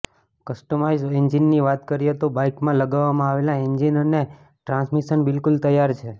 customised એન્જિનની વાત કરીએ તો બાઈકમાં લગાવવામાં આવેલા એન્જિન અને ટ્રાન્સમિશન બિલકુલ તૈયાર છે